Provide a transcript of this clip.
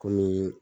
Kɔmi